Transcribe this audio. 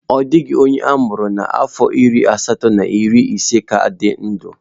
Ọ dịghị onye a mụrụ n'afọ narị asatọ na iri ise ka dị ndụ